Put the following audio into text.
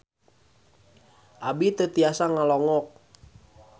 Abi teu tiasa ngalongok